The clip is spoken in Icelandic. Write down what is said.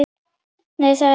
Nei, það er rétt